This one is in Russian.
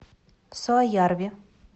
суоярви